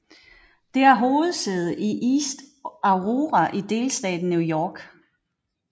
Det har hovedsæde i East Aurora i delstaten New York